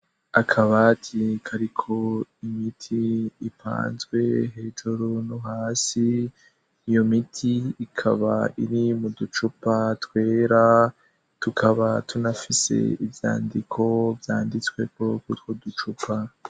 Akabati kariko imiti ipanzwe hejuru no hasi iyo miti ikaba iri mu ducupa twera tukaba tunafise ibyandiko vyanditsweko kwutwo ducupa.